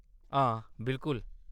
हां, बिलकुल !